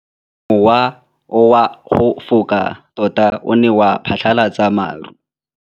Mowa o wa go foka tota o ne wa phatlalatsa maru.